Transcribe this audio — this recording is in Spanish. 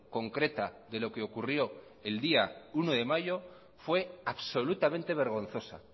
concreta de lo que ocurrió el día uno de mayo fue absolutamente vergonzosa